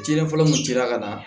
Diinɛ fɔlɔ mun dira ka na